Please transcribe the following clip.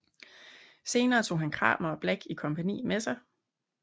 Senere tog han Cramer og Black i kompagni med sig